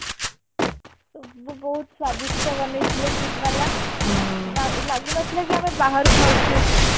ସବୁ ବହୁତ ସ୍ଵାଦିଷ୍ଠ ବନେଇ ଥିଲେ KIIT ବାଲା ଲା ଲାଗୁ ନଥିଲା କି ଆମେ ବାହାରୁ ଖାଉଚେ କି